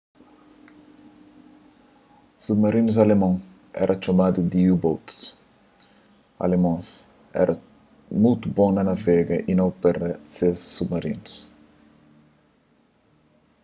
submarinus alemon éra txomadu di u-boats alemons éra mutu bon na navega y na opera ses submarinus